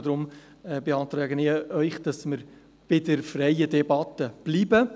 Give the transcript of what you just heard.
Deshalb beantrage ich Ihnen, bei der freien Debatte zu bleiben.